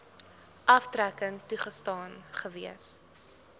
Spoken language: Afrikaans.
aftrekking toegestaan gewees